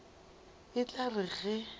e tla re ge e